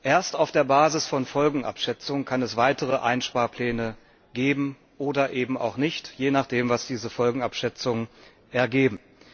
Erst auf der Basis von Folgenabschätzungen kann es weitere Einsparpläne geben oder eben auch nicht, je nachdem, was diese Folgenabschätzungen ergeben.